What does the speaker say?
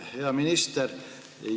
Hea minister!